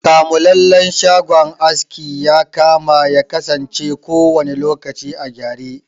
Kamulallen shagon aski yakama yakasance kowanne lokaci a gyare.